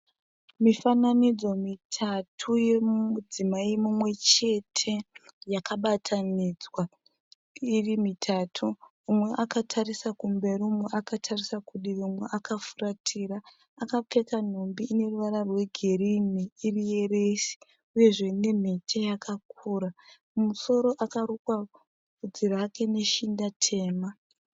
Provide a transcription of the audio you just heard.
Mifananidzo mitatu yomudzimai mumwe chete yakabatanidzwa iri mitatu, umwe akatarisa kumberi, umwe akatarisa kudivi, umwe akafuratira. Akapfeka nhumbi ine ruvara rwegirini iri yeresi uyezve nemhete yakakura. Mumusoro akarukwa bvudzi rake neshinda tema.